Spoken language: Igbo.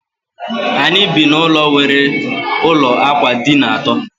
Anyị bi na ụlọ nwere ụlọ ákwà dina àtó